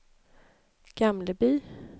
Gamleby